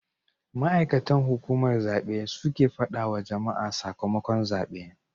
Ma'aikatan hukumar zabe su suke fadawa wa jama'a sakamakon zabe